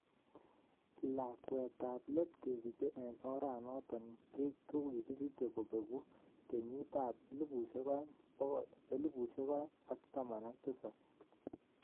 Lakwetab leet kesiche en oranoton kesije kobengu keyiitab 2017.